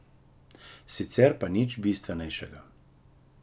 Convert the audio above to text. Sicer pa nič bistvenejšega.